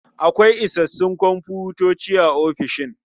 Akwai isassun komfutoci a ofishin.